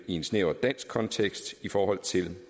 en snæver dansk kontekst i forhold til